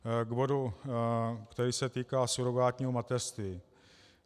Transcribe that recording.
K důvodu, který se týká surogátního mateřství.